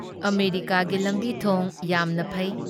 ꯑꯃꯦꯔꯤꯀꯥꯒꯤ ꯂꯝꯕꯤ ꯊꯣꯡ ꯌꯥꯝꯅ ꯐꯩ ꯫